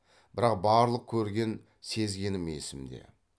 бірақ барлық көрген сезгенім есімде